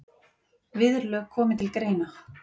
Viðurlög komi til greina.